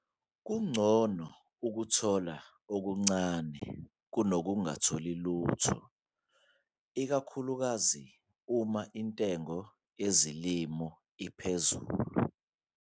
Kungcono ukuthola okuncane kunokungatholi lutho, ikakhulukazi uma intengo yezilimo iphezulu.